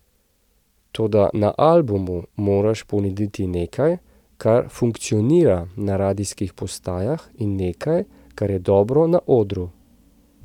Toda na albumu moraš ponuditi nekaj, kar funkcionira na radijskih postajah, in nekaj, kar je dobro na odru.